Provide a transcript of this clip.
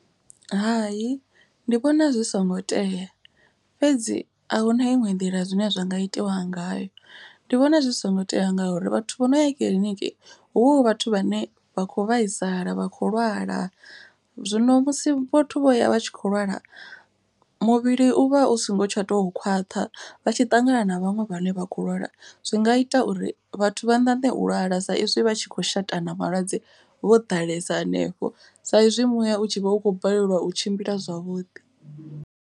Hai ndi vhona zwi songo tea fhedzi ahuna iṅwe nḓila zwine zwa nga itiwa ngayo. Ndi vhona zwi songo tea ngauri vhathu vho no ya kiḽiniki huvha hu vhathu vhane vha kho vhaisala vha khou lwala. Zwino musi vhathu vho ya vha tshi kho lwala muvhili u vha u songo tsha to khwaṱha. Vha tshi ṱangana na vhaṅwe vhane vha khou lwala zwi nga ita uri vhathu vha ṋaṋe u lwala. Sa izwi vha tshi khou shatana malwadze vho ḓalesa hanefho sa izwi muya u tshi vha u khou balelwa u tshimbila zwavhuḓi.